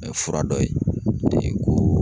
fura dɔ ye ko